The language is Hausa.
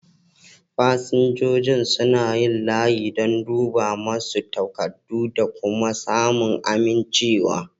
Fasinjojin suna yin layi don a duba masu takardu da kuma samun amincewa.